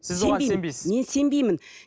сіз оған сенбейсіз мен сенбеймін